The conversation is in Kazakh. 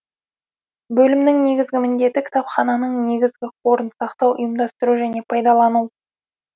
бөлімнің негізгі міндеті кітапхананың негізгі қорын сақтау ұйымдастыру және пайдалану